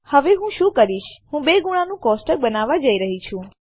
હવે હું શું કરીશ હું ૨ ગુણા નું કોષ્ટક બનાવવા જઈ રહી છું